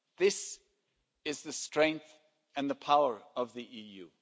This is the strength and the power of the EU.